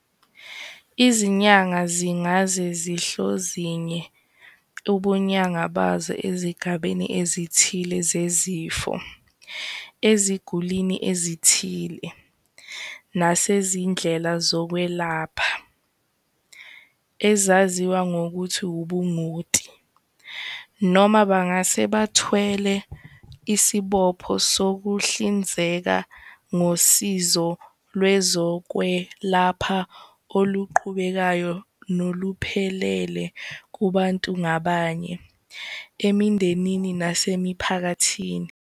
Izinyanga zingase zihlozinge ubunyanga bazo ezigabeni ezithile zezifo, ezigulini ezithile, nasezindlela zokwelapha-ezaziwa ngokuthi ubungoti -noma bangase bathwale isibopho sokuhlinzeka ngosizo lwezokwelapha oluqhubekayo noluphelele kubantu ngabanye, emindenini, nasemiphakathini.